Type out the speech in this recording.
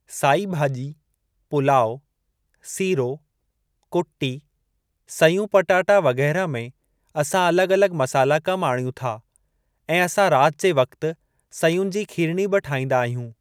साई भाॼी पुलाउ, सीरो, कुटी, सयूं पटाटा वग़ैरह में असां अलॻि अलॻि मसाला कमु आणियूं था ऐं असां राति जे वक़्तु सयुनि जी खीरणी बि ठाहिंदा आहियूं।